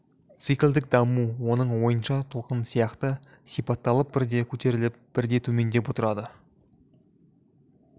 циклдік даму оның ойынша толқын сияқты сипатталып бірде көтеріліп бірде төмендеп отырады